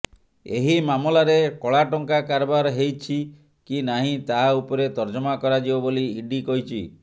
ଏହି ମାମଲାରେ କଳାଟଙ୍କା କାରବାର ହେଇଛି କି ନାହିଁ ତାହା ଉପରେ ତର୍ଜମା କରାଯିବ ବୋଲି ଇଡି କହିଛି